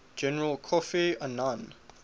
general kofi annan